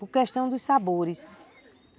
Por questão dos sabores.